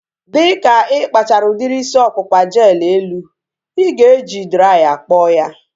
Dịka ịkpachara udiri isi ọkpụkpa jel elu, ị ga-eji draya kpọọ ya